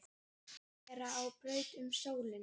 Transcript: vera á braut um sólina